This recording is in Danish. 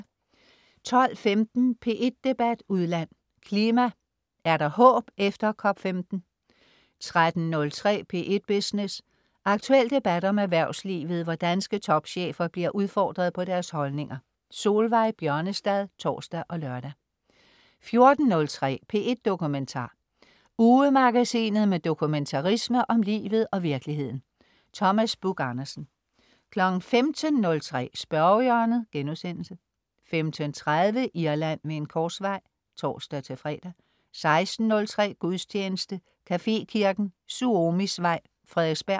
12.15 P1 Debat udland: Klima, er der håb efter COP15? 13.03 P1 Business. Aktuel debat om erhvervslivet, hvor danske topchefer bliver udfordret på deres holdninger. Solveig Bjørnestad (tors og lør) 14.03 P1 Dokumentar. Ugemagasinet med dokumentarisme om livet og virkeligheden. Thomas Buch-Andersen 15.03 Spørgehjørnet* 15.30 Irland ved en korsvej (tors-fre) 16.03 Gudstjeneste. Cafekirken, Suomisvej, Frederiksberg